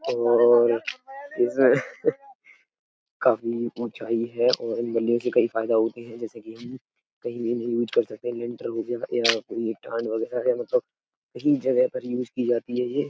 और इस काफी ऊंचाई है और इन बल्लियों से कई फायदा होते हैं। जैसे कि उम्म्म कई महीने यूज कर सकते हैं। लिंटर हो गया या ये ठंड वगैरा है। मतलब सही जगह पर यूज की जाती है ये।